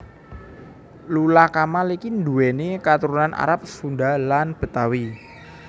Lula Kamal iki nduwéni katurunan Arab Sunda lan Betawi